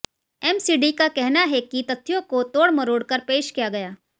MCD का कहना है कि तथ्यों को तोड़ मरोड़कर पेश किया गया